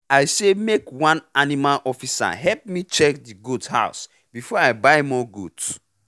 i say make one animal officer help me check the goat house before i buy more goat